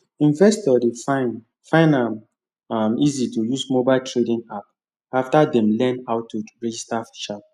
investors dey find find am um easy to use mobile trading app after dem learn how to register sharp